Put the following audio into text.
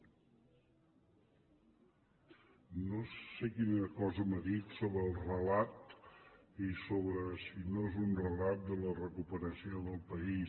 no sé quina cosa m’ha dit sobre el relat i sobre si no és un relat de la recuperació del país